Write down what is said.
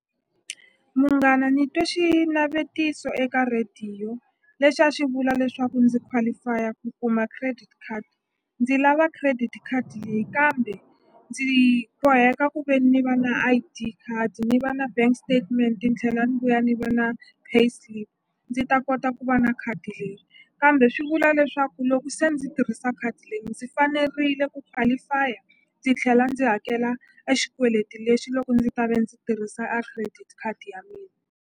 Munghana ni twe xinavetiso eka rhediyo lexi a xi vula leswaku ndzi qualify-a ku kuma credit card ndzi lava credit card leyi kambe ndzi boheka ku ve ni va na I_D card ni va na bank statement ni tlhela ni vuya ni va na pay slip ndzi ta kota ku va na khadi leri kambe swi vula leswaku loko se ndzi tirhisa khadi leyi ndzi fanerile ku qualify-a ndzi tlhela ndzi hakela exikweleti lexi loko ndzi ta ve ndzi tirhisa a credit khadi ya .